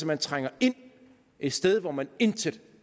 man trænger ind et sted hvor man intet